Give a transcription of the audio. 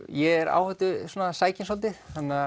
ég er áhættusækinn svolítið